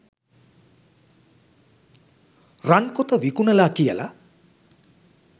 රන් කොත විකුණලා කියලා.